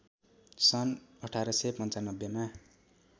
सन् १८९५ मा